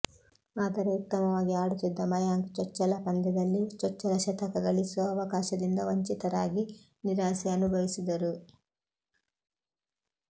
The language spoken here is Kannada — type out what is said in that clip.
ಆದರೆ ಉತ್ತಮವಾಗಿ ಆಡುತ್ತಿದ್ದ ಮಯಾಂಕ್ ಚೊಚ್ಚಲ ಪಂದ್ಯದಲ್ಲಿ ಚೊಚ್ಚಲ ಶತಕ ಗಳಿಸುವ ಅವಕಾಶದಿಂದ ವಂಚಿತರಾಗಿ ನಿರಾಸೆ ಅನುಭವಿಸಿದರು